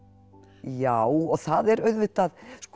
já og það er auðvitað